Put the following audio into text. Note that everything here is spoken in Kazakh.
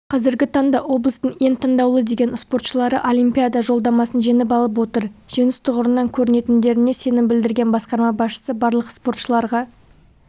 қазіргі таңда облыстың ең таңдаулы деген спортшылары олимпиада жолдамасын жеңіп алып отыр жеңіс тұғырынан көрінетіндіктеріне сенім білдірген басқарма басшысы барлық спортшыларға